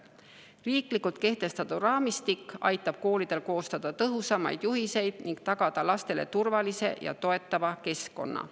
Riiklikult kehtestatud raamistik aitab koolidel koostada tõhusamaid juhiseid ning tagada lastele turvalise ja toetava keskkonna.